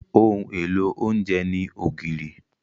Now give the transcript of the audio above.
Ohun èlò oúnjẹ ní ògìrì.